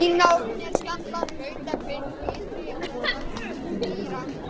Vínárneshjallar, Nautahvilft, Ytri-Ólafsdalshlíð, Mýrarkúla